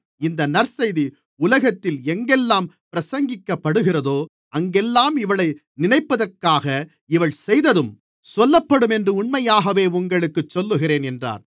இந்த நற்செய்தி உலகத்தில் எங்கெல்லாம் பிரசங்கிக்கப்படுகிறதோ அங்கெல்லாம் இவளை நினைப்பதற்காக இவள் செய்ததும் சொல்லப்படும் என்று உண்மையாகவே உங்களுக்குச் சொல்லுகிறேன் என்றார்